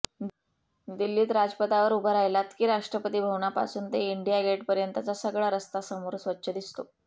दिल्लीत राजपथावर उभा राहिलात की राष्ट्रपती भवनापासून ते इंडिया गेटपर्यंतचा सगळा रस्ता समोर स्वच्छ दिसतो